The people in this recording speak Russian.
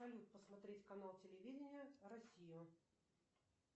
салют посмотреть канал телевидения россию